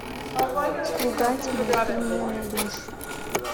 слуга тьмы ты мне найдешь